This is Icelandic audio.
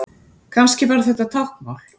Kannski var þetta táknmál?